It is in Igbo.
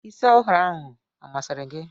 Isi ọhụrụ ahụ ọ masịrị gị?